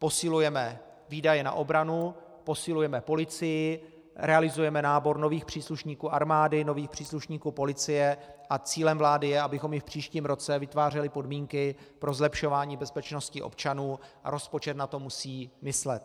Posilujeme výdaje na obranu, posilujeme policii, realizujeme nábor nových příslušníků armády, nových příslušníků policie a cílem vlády je, abychom i v příštím roce vytvářeli podmínky pro zlepšování bezpečnosti občanů, a rozpočet na to musí myslet.